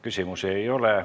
Küsimusi ei ole.